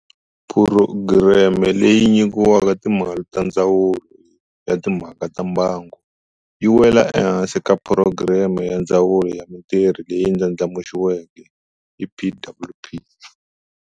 Phurogireme leyi nyikiwaka timali ta Ndzawulo ya Timha ka ta Mbango, yi wela ehansi ka Phurogireme ya Ndzawulo ya Mitirho leyi Ndlandlamuxiweke, EPWP.